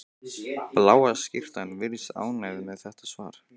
Bláa skyrtan virðist ánægð með þetta svar.